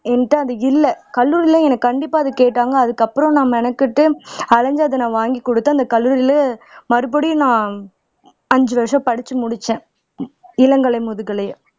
என்கிட்ட அது இல்ல கல்லூரில எனக்கு கண்டிப்பா அது கேட்டாங்க அதுக்கப்புறம் நான் மெனக்கெட்டு அலைஞ்சு அதை நான் வாங்கி குடுத்தேன் அந்த கல்லூரில மறுபடியும் நான் அஞ்சு வருஷம் படிச்சு முடிச்சேன் இளங்கலை முதுகலையை